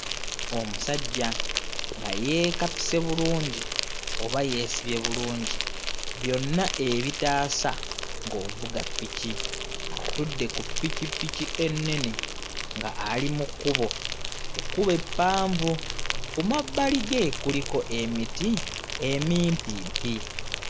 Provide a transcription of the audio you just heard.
Omusajja nga yeekapise bulungi oba yeesibye bulungi byonna ebitaasa ng'ovuga piki. Atudde ku pikipiki ennene nga ali mu kkubo, ekkubo eppanvu. Ku mabbali ge kuliko emiti emimpimpi.